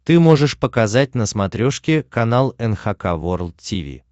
ты можешь показать на смотрешке канал эн эйч кей волд ти ви